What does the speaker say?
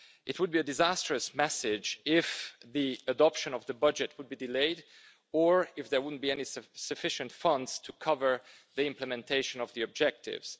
It would be a disastrous message if the adoption of the budget were to be delayed or if there were not sufficient funds to cover the implementation of the objectives.